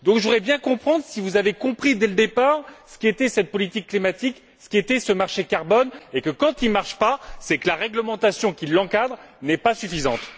Je voudrais donc bien comprendre si vous avez compris, dès le départ, ce qu'était cette politique climatique, ce qu'était ce marché carbone et le fait que, quand il ne marche pas, c'est que la réglementation qui l'encadre n'est pas suffisante.